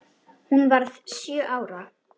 Hún varð sjö ára.